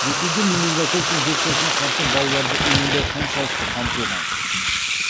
ресейде менингококк инфекциясына қарсы балаларды иммундау қаншалықты қамтылған